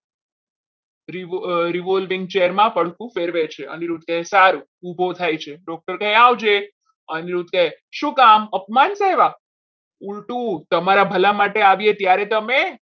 revolving chair માં પડખું ફેરવે છે અનિરુદ્ધ કહે સારું ઉભો થાય છે. doctor કહે આપજે અનિરુદ્ધ કહે શું કામ અપમાન કરવા પૂરતું તમારા ભલા માટે આવીએ ત્યારે તમે